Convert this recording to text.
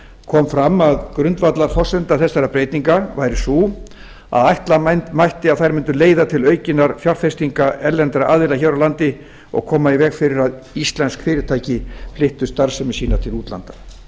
kom fram að grundvallarforsenda þessara breytinga væri sú að ætla mætti að þær mundu leiða til aukinna fjárfestinga erlendra aðila hér á landi og koma í veg fyrir að íslensk fyrirtæki flyttu starfsemi sína til útlanda